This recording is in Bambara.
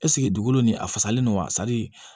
Ɛseke dugukolo nin a fasalen don wa